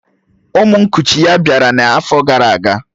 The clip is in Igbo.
Ụmụ nkuchi ya bịara n'afọ gara aga